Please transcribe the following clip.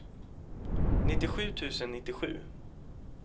nittiosju tusen nittiosju